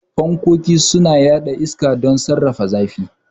Fankkoki suna yaɗa iska don sanyaya da saka ɗakuna da kuma sarrafa zafi.